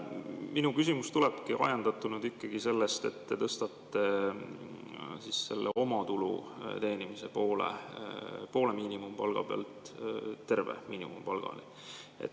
Minu küsimus tulebki ajendatuna ikkagi sellest, et te tõstatate selle omatulu teenimise poole miinimumpalga pealt terve miinimumpalgani.